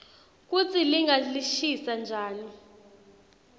kutsi linga lishisa njani